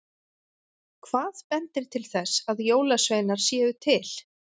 Hvað bendir til þess að jólasveinar séu til?